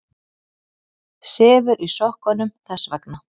Sefur í sokkunum þess vegna.